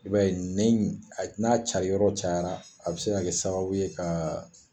I b'a ye nɛn in, a n'a cari yɔrɔ cayara a be se kɛ sababu ye ka